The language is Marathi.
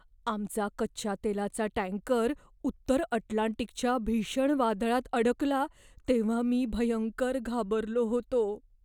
आमचा कच्च्या तेलाचा टँकर उत्तर अटलांटिकच्या भीषण वादळात अडकला तेव्हा मी भयंकर घाबरलो होतो.